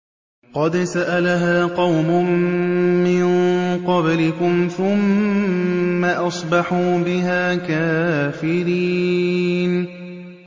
قَدْ سَأَلَهَا قَوْمٌ مِّن قَبْلِكُمْ ثُمَّ أَصْبَحُوا بِهَا كَافِرِينَ